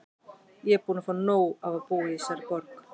Ég er bara búin að fá nóg af að búa í þessari borg.